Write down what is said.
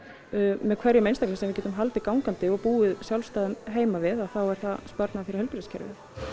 með hverjum einstaklingi sem við getum haldið gangandi og búið sjálfstæðum heima við þá er það sparnaður fyrir heilbrigðiskerfið